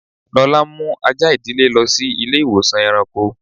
Lọla n mú àjà idílé lọ sí ilẹ̀-ìwọ̀sàn èràṇkọ́.